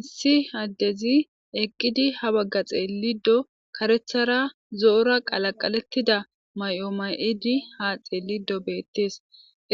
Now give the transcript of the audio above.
Issi addezi eqqidi ha bagga xeelliddo karethara zo7ora qalaqalettida may'o may'idi ha xeellido beettees